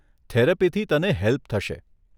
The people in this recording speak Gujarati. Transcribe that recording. થેરપીથી તને હેલ્પ થશે.